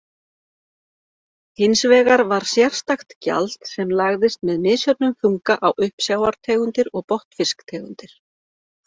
Hins vegar var sérstakt gjald sem lagðist með misjöfnum þunga á uppsjávartegundir og botnfisktegundir.